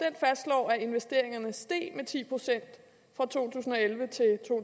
fastslår at investeringerne steg med ti procent fra to